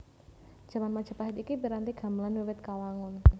Jaman Majapahit iki piranti gamelan wiwit kawangun